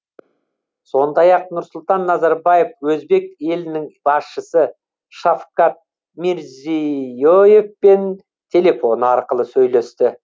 сондай ақ нұрсұлтан назарбаев өзбек елінің басшысы шавкат мирзие евпен телефон арқылы сөйлесті